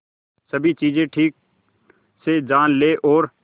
सभी चीजें ठीक से जान ले और